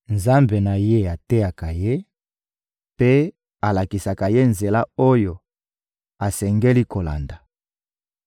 Nzambe na ye ateyaka ye mpe alakisaka ye nzela oyo asengeli kolanda.